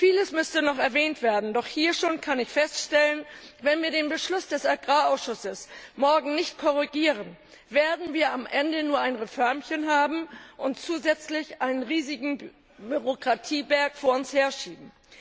Vieles müsste noch erwähnt werden, doch ich kann hier schon feststellen Wenn wir den Beschluss des Agrarausschusses morgen nicht korrigieren, werden wir am Ende nur ein Reförmchen haben und zusätzlich einen riesigen Bürokratieberg vor uns herschieben.